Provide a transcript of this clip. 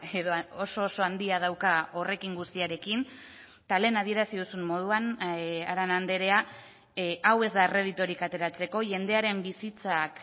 edo oso oso handia dauka horrekin guztiarekin eta lehen adierazi duzun moduan arana andrea hau ez da erreditorik ateratzeko jendearen bizitzak